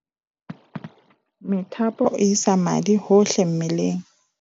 methapo e isa madi hohle mmeleng